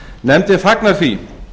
nefndin fagnar því